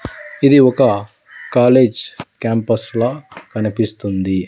ఇది ఒక college campus లా కనిపిస్తుంది.